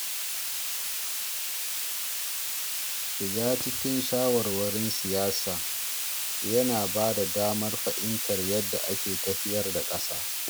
Shiga cikin shawarwarin siyasa yana bada damar fahimtar yadda ake tafiyar da ƙasa.